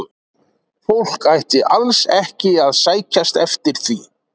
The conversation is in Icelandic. Fólk ætti alls ekki að sækjast eftir því.